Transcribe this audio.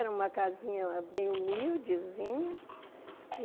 Era uma casinha bem humildezinha.